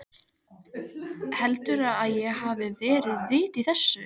Heldurðu að það hafi verið vit í þessu?